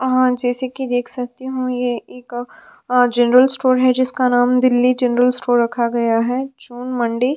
आ जैसे कि देख सकती हूं यह एक जनरल स्टोर है जिसका नाम दिल्ली जनरल स्टोर रखा गया है जून मंडी।